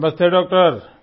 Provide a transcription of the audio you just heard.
नमस्ते डॉक्टर